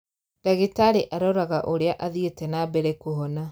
Ndagitarĩ aroraga ũrĩa athiĩte na mbere kũhona